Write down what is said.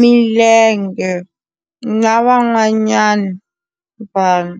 milenge na van'wanyana vanhu.